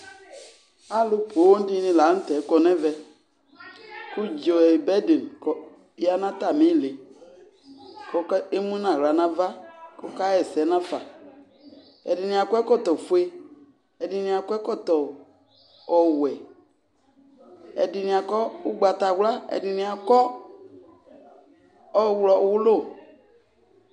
Alʋ poo dɩnɩ la nʋ tɛ kɔ nʋ ɛvɛ kʋ dz ɔ bɛd kɔ ya nʋ atamɩ ɩɩlɩ kʋ ɔk emu nʋ aɣla nʋ ava kʋ ɔkaɣa ɛsɛ nafa Ɛdɩnɩ akɔ ɛkɔtɔfue, ɛdɩnɩ akɔ ɛkɔtɔ ɔwɛ, ɛdɩnɩ akɔ ʋgbatawla, ɛdɩnɩ akɔ ɔɣlɔwʋlʋ